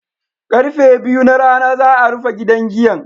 Karfe biyu na rana za'a rufe gidan giyan.